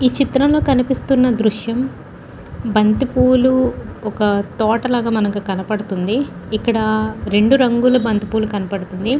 ఈ చిత్రంలో కనిపిస్తున్న దృశ్యం బంతిపూలు ఒక తోటలాగా కనపడుతుంది. ఇందులో రెండు రంగుల బంతిపూలు కనబడుతుంది.